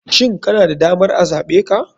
Shin kana da damar a zaɓe ka?